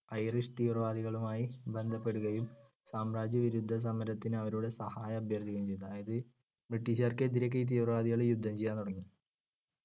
Irish തീവ്രവാദികളുമായി ബന്ധപ്പെടുകയും സാമ്രാജ്യവിരുദ്ധ സമരത്തിന് അവരുടെ സഹായം അഭ്യർത്ഥിക്കുകയും ചെയ്തു. അതായതു ബ്രിട്ടീഷുക്കാർക്കെതിരെ ഒക്കെ ഈ തീവ്രവാദികൾ യുദ്ധം ചെയ്യാൻ തുടങ്ങി.